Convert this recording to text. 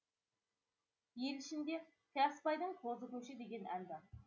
ел ішінде қиясбайдың қозы көші деген ән бар